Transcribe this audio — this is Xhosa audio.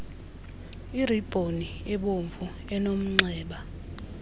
iribhoni ebomvu enomnxeba